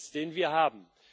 den wir haben.